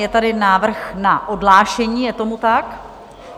Je tady návrh na odhlášení, je tomu tak?